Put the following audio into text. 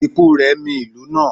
ikú rẹ̀ mì ìlú náà